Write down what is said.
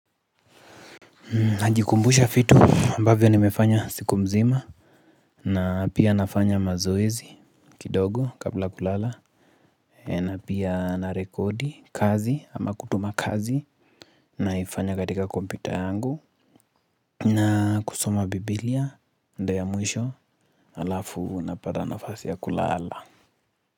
Najikumbusha vitu ambavyo nimefanya siku mzima na pia nafanya mazoezi kidogo kabla kulala na pia na rekodi kazi ama kutuma kazi naifanya katika kompita yangu na kusoma Biblia ndo ya mwisho alafu napata nafasi ya kulala.